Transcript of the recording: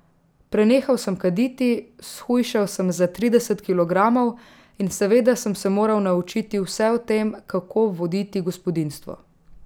Prenehal sem kaditi, shujšal sem za trideset kilogramov in seveda sem se moral naučiti vse o tem, kako voditi gospodinjstvo.